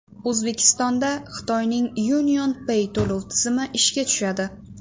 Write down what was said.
O‘zbekistonda Xitoyning UnionPay to‘lov tizimi ishga tushadi .